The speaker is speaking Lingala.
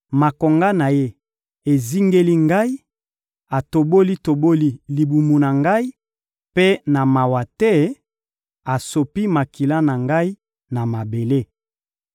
makonga na Ye ezingeli ngai, atoboli-toboli libumu na ngai, mpe na mawa te, asopi makila na ngai na mabele.